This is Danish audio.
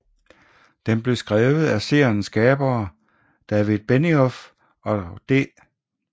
Den blev skrevet af seriens skabere David Benioff og D